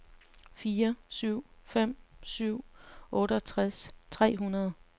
fire syv fem syv otteogtres tre hundrede